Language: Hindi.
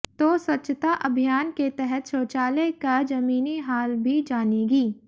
तो स्वच्छता अभियान के तहत शौचालय का जमीनी हाल भी जानेगी